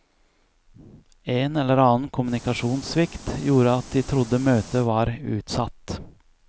En eller annen kommunikasjonssvikt gjorde at de trodde møtet var utsatt.